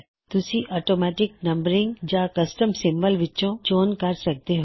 ਤੁਸੀਂ automatic numbering ਜਾਂ custom symbol ਵਿੱਚੋਂ ਚੋਣ ਕਰ ਸਕਦੇ ਹੋਂ